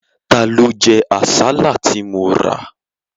Ta ló jẹ àsálà tí mo rà?